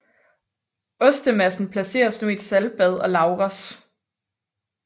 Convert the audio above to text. Ostemassen placeres nu i et saltbad og lagres